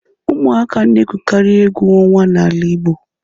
Ụmụaka na-egwukarị egwu ọnwa n'ala igbo.